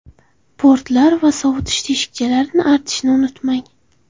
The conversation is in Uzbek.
Portlar va sovutish teshikchalarini artishni unutmang.